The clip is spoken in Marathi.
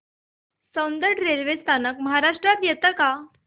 सौंदड रेल्वे स्थानक महाराष्ट्रात येतं का